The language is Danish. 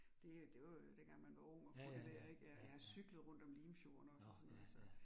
Det det var jo dengang man var ung og kunne det dér ik ja, ja jeg har cyklet rundt om Limfjorden også og sådan noget så